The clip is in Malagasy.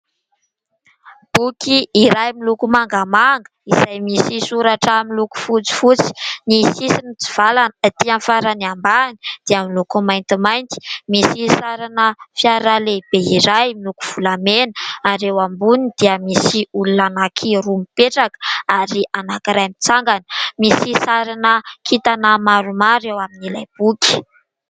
Boky iray miloko mangamanga izay misy soratra miloko fotsifotsy, ny sisisy mitsivalana etỳ amin'ny farany ambany dia miloko maintimainty misy sarina fiara lehibe iray miloko volamena ; ary eo amboniny dia misy olona anankiroa mipetraka ary anankiray mitsangana, misy sarina kintana maromaro ao amin'ilay boky.